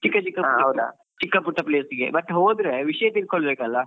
ಚಿಕ್ಕ ಚಿಕ್ಕ place ಗೆ ಚಿಕ್ಕ ಪುಟ್ಟ place ಗೆ ಮತ್ತೆ ಹೋದ್ರೆ ವಿಷ್ಯ ತಿಳ್ಕೊಳ್ಳಾಬೇಕಲ್ಲ.